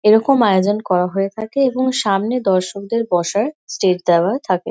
এরকম আয়োজন করা হয়ে থাকে এবং সামনে দর্শকদের বসার সিট দেওয়া থাকে।